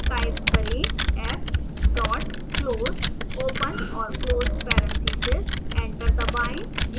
type करें f dot close open और close parentheses